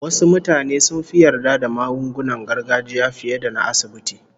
Wasu mutane sun fi yarda da magungunan gargajiya fiye da na asibiti